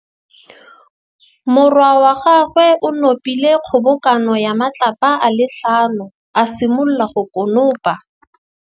Morwa wa gagwe o nopile kgobokanô ya matlapa a le tlhano, a simolola go konopa.